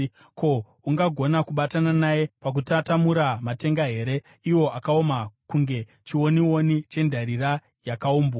ko, ungagona kubatana naye pakutatamura matenga here, iwo akaoma kunge chionioni chendarira yakaumbwa.